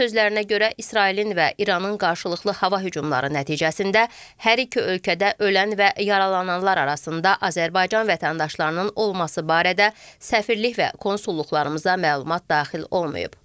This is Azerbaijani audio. Onun sözlərinə görə İsrailin və İranın qarşılıqlı hava hücumları nəticəsində hər iki ölkədə ölən və yaralananlar arasında Azərbaycan vətəndaşlarının olması barədə səfirlik və konsulluqlarımıza məlumat daxil olmayıb.